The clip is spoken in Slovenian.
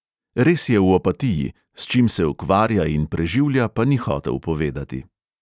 Res je v opatiji, s čim se ukvarja in preživlja, pa ni hotel povedati.